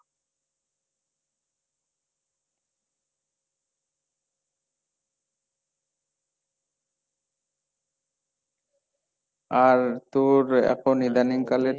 আর তোর এখন ইদানিং কালের,